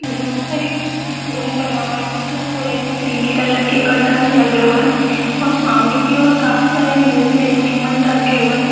यहां पर एक रूम बना हुआ है जिसमें पूरे में क्रीमी कलर के कर्टन्स लगे हुए है और सामने की तरफ काफी सारे म्यूजिक इंस्ट्रूमेंट रखे हुए है।